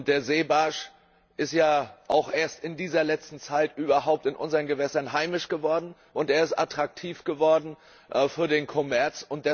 Der Seebarsch ist ja auch erst in dieser letzten Zeit überhaupt in unseren Gewässern heimisch geworden, und er ist attraktiv geworden für den Kommerz.